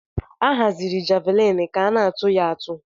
Ahaziri javlin ka ana atụ ya atụ.